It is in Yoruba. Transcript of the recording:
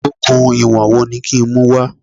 Okùn ìwọ̀n wo ni kí n mú wá?